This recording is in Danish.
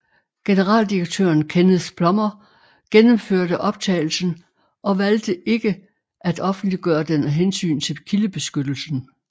Generaldirektøren Kenneth Plummer gennemhørte optagelsen og valgte ikke af offentliggøre den af hensyn til kildebeskyttelsen